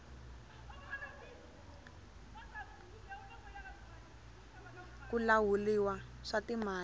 ku lahuliwa swa timali